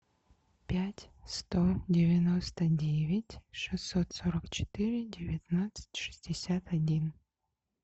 пять сто девяносто девять шестьсот сорок четыре девятнадцать шестьдесят один